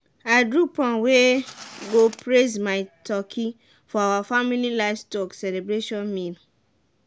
i do prom wey go praise my turkey for our family livestock celebration meal.